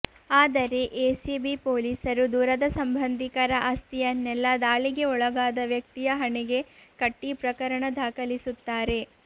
ಆದರೆ ಎಸಿಬಿ ಪೊಲೀಸರು ದೂರದ ಸಂಬಂಧಿಕರ ಆಸ್ತಿಯನ್ನೆಲ್ಲ ದಾಳಿಗೆ ಒಳಗಾದ ವ್ಯಕ್ತಿಯ ಹಣೆಗೆ ಕಟ್ಟಿಪ್ರಕರಣ ದಾಖಲಿಸುತ್ತಾರೆ